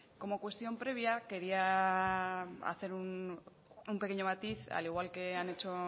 como cuestión previa quería hacer un pequeño matiz al igual que han hecho